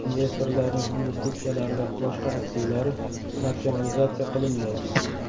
Investorlarning investitsiyalari va boshqa aktivlari natsionalizatsiya qilinmaydi.